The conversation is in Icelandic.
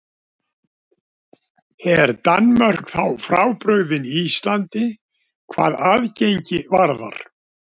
Er Danmörk þá frábrugðin Íslandi hvað aðgengi varðar?